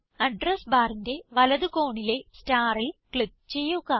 address barന്റെ വലത് കോണിലെ starൽ ക്ലിക്ക് ചെയ്യുക